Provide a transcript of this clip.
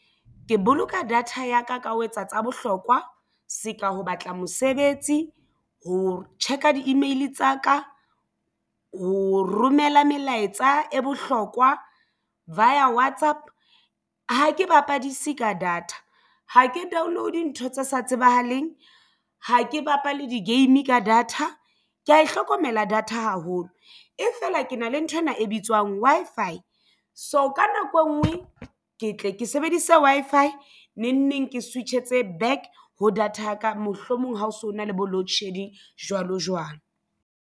Ke boloka data ya ka ka ho etsa tsa bohlokwa se ka ho batla mosebetsi ho check-a di-email tsa ka. Ho romela melaetsa e bohlokwa via WhatsApp. Ha ke bapadise ka data ha ke download ntho tse sa tsebahaleng ha ke bapale di-game ka data ke ya e hlokomela data haholo e fela ke na le nthwena e bitswang Wi-Fi. So, ka nako engwe ke tle ke sebedise Wi-Fi neng neng ke switch-etse back ho data yaka mohlomong ha o so na le bo loadshedding jwalo jwalo.